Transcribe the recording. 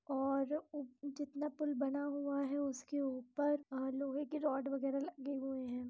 और जितना पुल बना हुआ है उसके ऊपर लोहे की रोड वगहरा लगी हुई है।